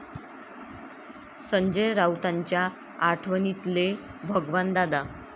संजय राऊतांच्या आठवणीतले भगवान दादा